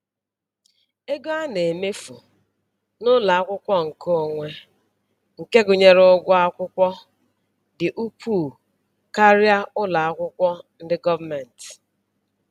Ego a na-emefu n'ụlọakwụkwọ nke onwe nke gụnyere ụgwọ akwụkwọ dị ukwuu karịa ụlọ akwụkwọ ndị gọọmentị